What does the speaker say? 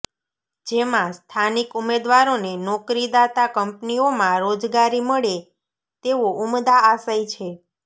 જેમાં સ્થાનિક ઉમેદવારોને નોકરીદાતા કંપનીઓમાં રોજગારી મળે તેવો ઉમદા આશય છે